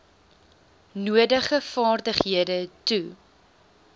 nodige vaardighede toe